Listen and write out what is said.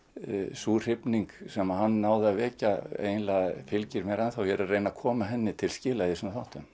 sú hrifning sem hann náði að vekja fylgir mér ennþá ég er að reyna að koma henni til skila í þessum þáttum